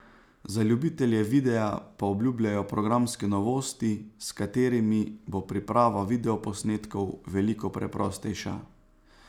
Za ljubitelje videa pa obljubljajo programske novosti, s katerimi bo priprava videoposnetkov veliko preprostejša.